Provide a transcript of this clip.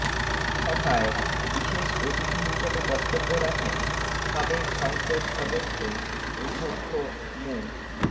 সভায় বিশেষ অতিথি হিসেবে বক্তব্য রাখেন সাবেক সংসদ সদস্য অধ্যক্ষ মো